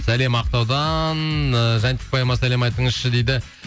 сәлем ақтаудан і сәлем айтыңызшы дейді